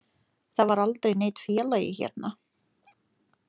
Það var aldrei neinn félagi hérna.